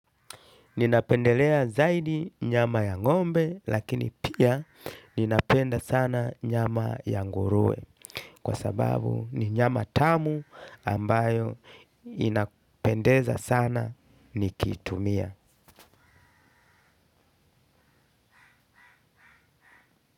Ninapendelea zaidi nyama ya ng'ombe lakini pia ninapenda sana nyama ya nguruwe kwa sababu ni nyama tamu ambayo inapendeza sana nikitumia.